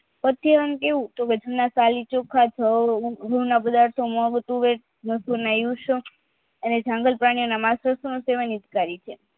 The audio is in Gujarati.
પરશુરામ કેવું કે ખાલી ચોખા જવ અને જંગલ પ્રાણીના માસને